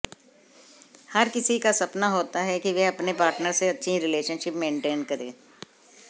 हर किसी का सपना होता है कि वह अपने पार्टनर से अच्छी रिलेशनशिप मेंटेन करें